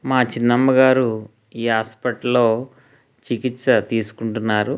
మా చిన్నమ్మ గారు ఈ హాస్పిటల్ లో చికిత్స తీసుకుంటున్నారు.